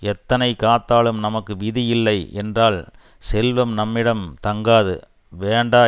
எத்தனை காத்தாலும் நமக்கு விதி இல்லை என்றால் செல்வம் நம்மிடம் தங்காது வேண்டா